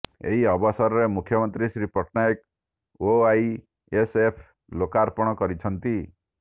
ଏହି ଅବସରରେ ମୁଖ୍ୟମନ୍ତ୍ରୀ ଶ୍ରୀ ପଟ୍ଟନାୟକ ଓଆଇଏସ୍ଏଫ୍ର ଲୋକର୍ପଣ କରିଛନ୍ତି